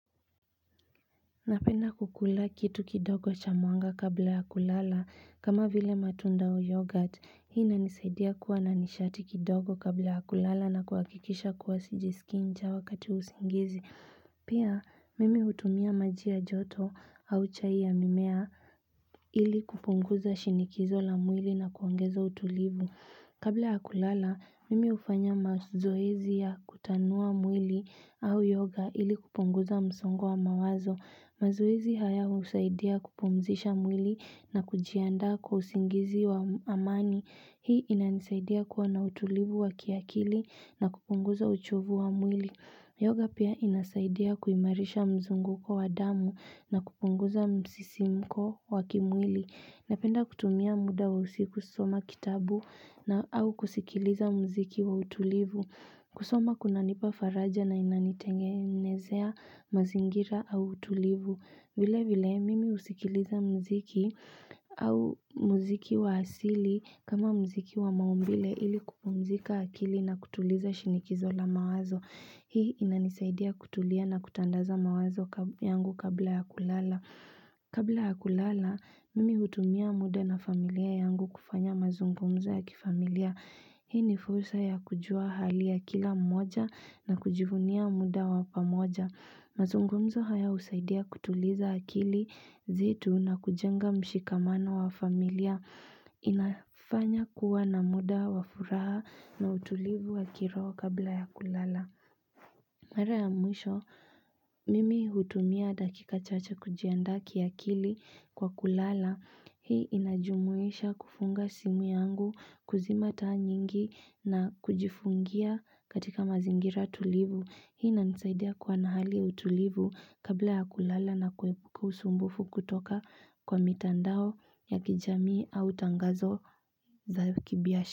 Napenda kukula kitu kidogo cha mwanga kabla ya kulala kama vile matunda au yoghurt. Hii inanisaidia kuwa na nishati kidogo kabla ya kulala na kuhakikisha kuwa sijasikia njaa wakati wa usingizi. Pia, mimi hutumia maji ya joto au chai ya mimea ili kupunguza shinikizo la mwili na kuongezo utulivu. Kabla ya kulala, mimi hufanya mazoezi ya kutanua mwili au yoga ili kupunguza msongo wa mawazo. Mazoezi haya husaidia kupumzisha mwili na kujiandaa kwa usingizi wa amani. Hii inanisaidia kuwa na utulivu wa kiakili na kupunguza uchovu wa mwili. Yoga pia inasaidia kuimarisha mzunguko wa damu na kupunguza msisimko wa kimwili. Napenda kutumia muda wa usiku kusoma kitabu na au kusikiliza muziki wa utulivu. Kusoma kunanipa faraja na inanitengenezea mazingira au utulivu. Vile vile mimi husikiliza muziki au muziki wa asili kama muziki wa maumbile ili kupumzika akili na kutuliza shinikizo la mawazo. Hii inanisaidia kutulia na kutandaza mawazo yangu kabla ya kulala. Kabla ya kulala, mimi hutumia muda na familia yangu kufanya mazungumzo ya kifamilia. Hii ni fursa ya kujua hali ya kila mmoja na kujivunia muda wa pamoja. Mazungumzo haya husaidia kutuliza akili zetu na kujenga mshikamano wa familia. Inafanya kuwa na muda wa furaha na utulivu wa kiroho kabla ya kulala. Mara ya mwisho mimi hutumia dakika chache kujiandaa kiakili kwa kulala hii inajumuisha kufunga simu yangu, kuzima taa nyingi na kujifungia katika mazingira tulivu. Hii inanisaidia kuwa na hali ya utulivu kabla ya kulala na kuepuka usumbufu kutoka kwa mitandao ya kijamii au tangazo za kibiashara.